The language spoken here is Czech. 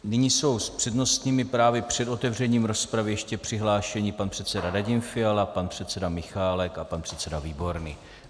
Nyní jsou s přednostními právy před otevřením rozpravy ještě přihlášeni pan předseda Radim Fiala, pan předseda Michálek a pan předseda Výborný.